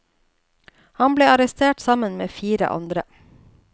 Han ble arrestert sammen med fire andre.